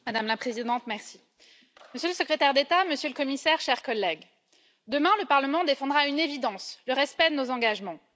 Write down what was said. Madame la Présidente, Monsieur le Secrétaire d'État, Monsieur le Commissaire, Chers collègues, demain le Parlement défendra une évidence le respect de nos engagements.